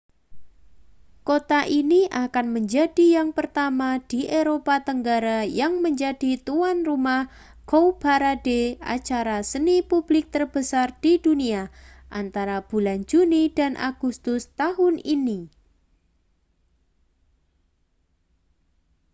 kota ini akan menjadi yang pertama di eropa tenggara yang menjadi tuan rumah cowparade acara seni publik terbesar di dunia antara bulan juni dan agustus tahun ini